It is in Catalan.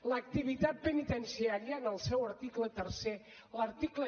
l’activitat penitenciària en el seu article tercer l’article